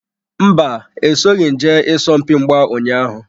Mba, esoghim jee isompi mgba ụnyaahụ.